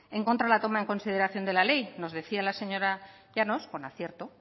en contra de la toma en consideración de la ley nos decía las señora llanos con acierto